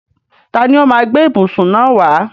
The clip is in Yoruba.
Tani ó máa gbé ìbùsùn náà wá?